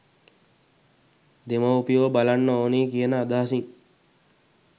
දෙමව්පියෝ බලන්න ඕන කියන අදහසින්